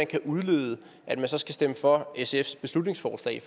kan udlede at man så skal stemme for sfs beslutningsforslag